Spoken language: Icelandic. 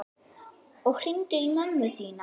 Og hringdu í mömmu þína.